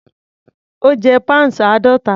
Ó jẹ́ pounds àádọ́ta.